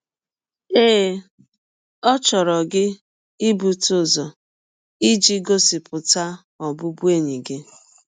Ee, ọ chọrọ gị ibute ụzọ iji gọsipụta ọbụbụenyi gị.